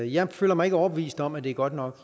jeg føler mig ikke overbevist om at det er godt nok